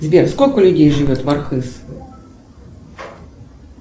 сбер сколько людей живет в архыз